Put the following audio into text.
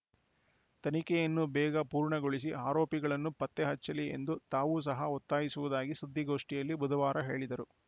ತನಿಖೆಯನ್ನು ಬೇಗ ಪೂರ್ಣಗೊಳಿಸಿ ಆರೋಪಿಗಳನ್ನು ಪತ್ತೆ ಹಚ್ಚಲಿ ಎಂದು ತಾವೂ ಸಹ ಒತ್ತಾಯಿಸುವುದಾಗಿ ಸುದ್ದಿಗೋಷ್ಠಿಯಲ್ಲಿ ಬುಧವಾರ ಹೇಳಿದರು